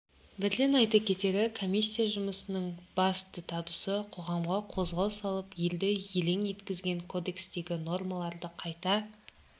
бірден айта кетері комиссия жұмысының басты табысы қоғамға қозғау салып елді елеі еткізген кодекстегі нормаларды қайта